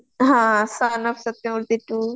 ହଁ ସନମ ସତ୍ୟମତି ଟୂ